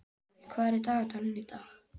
Balli, hvað er í dagatalinu í dag?